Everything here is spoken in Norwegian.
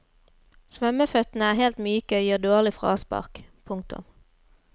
Svømmeføttene er helt myke og gir dårlig fraspark. punktum